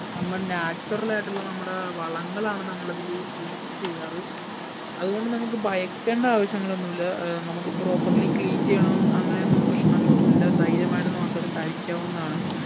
നമ്മൾ natural ആയിട്ടുള്ള നമ്മടെ വളങ്ങൾ ആണ് നമ്മളതില് use ചെയ്യാറ് അത് കൊണ്ട് നമുക്ക് ഭയക്കേണ്ട ആവിശ്യങ്ങളൊന്നുല്ല ഏർ നമ്മക്ക് properly clean ചെയ്യണം അങ്ങനെ ഒന്നും പ്രശനങ്ങൾ ഒന്നും ഇല്ല ധൈര്യമായിട്ട് നമുക്ക് അത് കഴിക്കാവുന്നതാണ്